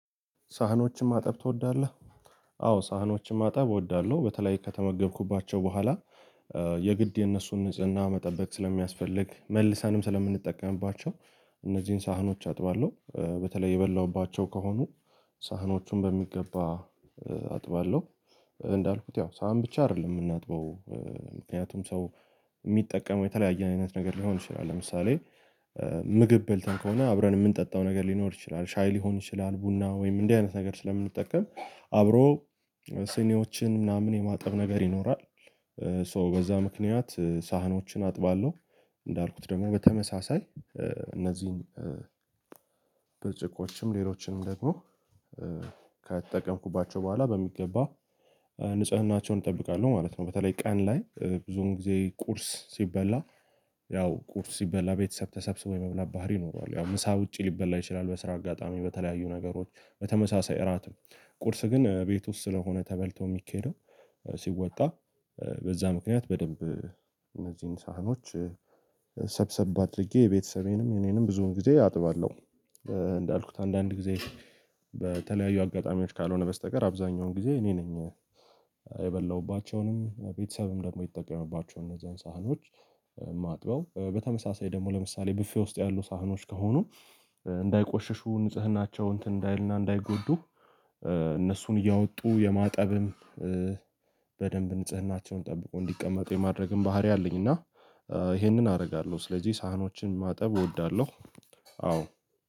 ሳህኖችን ማጠብ ትወዳለህ? አዎ ሳህኖችን ማጠብ እወዳለሁ በተለይ ከተመገብኩባቸው በኋላ የግድ የነሱን ንጽህና መጠበቅ ስለሚያስፈልግ መልሰንም ስለምንጠቀምባቸው እነዚህን ሳህኖች አጥባለሁ በተለይ የበላሁባቸው ከሆኑ ሳህኖቹን በሚገባ አጥባለሁ። እንዳልኩት ያው ሳህን ብቻ አይደለም የምናጥበው ምክንያቱም ሰው የሚጠቀመው የተለያየ አይነት ነገር ሊሆን ይችላል ለምሳሌ ምግብ በልተን ከሆነ አብረን የምንጠጣው ነገር ሊኖር ይችላል ሻይ ሊሆን ይችላል ቡና ወይም እንደዚህ አይነት ነገር ስለምንጠቀም አብሮ ስኒዎችን ምናምን የማጠብ ነገር ይኖራል። ሶ በዛ ምክንያት ሳህኖችን አጥባለሁ እንዳልኩት ደግሞ በተመሳሳይ እነዚህን ብርጭቆችም ሌሎችንም ደግሞ ከተጠቀምኩባቸው በኋላ በሚገባ ንጽህናቸውን እጠብቃለሁ ማለት ነው። በተለይ ቀን ላይ ብዙውን ጊዜ ቁርስ ሲበላ ያው ቁርስ ሲበላ ቤተሰብ ተሰብስቦ የመብላት ባህሪ ይኖረዋል ያው ምሳ ውጪ ሊበላ ይችላል በስራ አጋጣሚ በተለያዩ ነገሮች በተመሳሳይ እራት ነው ቁርስ ግን ቤት ውስጥ ስለሆነ ተበልቶ የሚኬደው ሲወጣ በዛ ምክንያት በደንብ እነዚህን ሳህኖች ሰብሰብ አድርጌ የቤተሰቤንም የእኔንም ብዙውን ጊዜ አጥባለሁ። አንዳንድ ጊዜ በተለያዩ አጋጣሚዎች ካልሆነ በስተቀር አብዛኛውን ጊዜ እኔ ነኝ የበላሁባቸውንም ቤተሰብም ደግሞ የተጠቀመባቸውን እነዛን ሳህኖች ማጥበው በተመሳሳይ ደግሞ ለምሳሌ ብፌ ውስጥ ያሉ ሳህኖች ከሆኑ እንዳይቆሸሹ ንጽህናቸው እንትን እንዳይልና እንዳይጎዱ እነሱን እያወጡ የማጠብም በደንብ ንጽህናቸውን ጠብቆ እንዲቀመጡ የማድረግም ባህሪ አለኝ። እና ይሄንን አደርጋለሁ ስለዚህ ሳህኖችን ማጠብ እወዳለሁ። አዎ